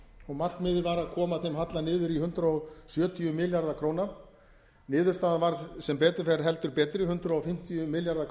og markmiðið var að koma þeim halla niður í hundrað sjötíu milljarða króna niðurstaðan varð sem betur fer heldur betri hundrað fimmtíu milljarðar